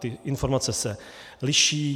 Ty informace se liší.